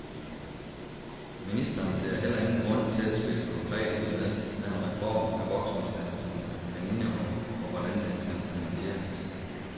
Ministeren ser heller ingen grund til at spille konkret ud med, hvad en reform af voksenuddannelserne kan indeholde, og hvordan den kan finansieres.